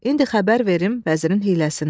İndi xəbər verim vəzirin hiyləsindən.